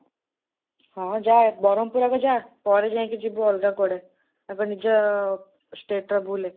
ହଁ ଯା, ବରହମପୁର ଆଗ ଯା, ପରେ ଯାଇକି ଯିବୁ ଅଲଗା କୁଆଡ଼େ। ଆଗ ନିଜ stateରେ ବୁଲେ।